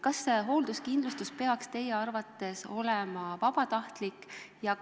Kas hoolduskindlustus peaks teie arvates olema vabatahtlik?